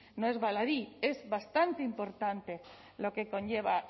no es baladí es bastante importante lo que conlleva